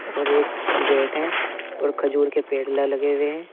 और एक गेट है और खजूर के पेड़ला लगे हुए हैं।